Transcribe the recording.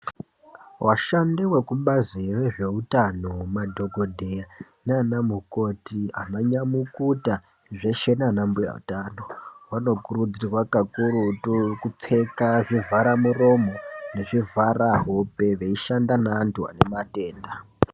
Vashandi vekubazi rezvehutano madhokodheya nana mukoti ana nyamukuta zveshe nana mbuya utano vanokurudzirwa kakurutu kupfeka zvivhare muromo nezvivhara hope nekushanda nevanhu vane matenda.